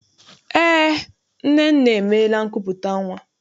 Eé, Nnenne emeela nkupụta nnwa.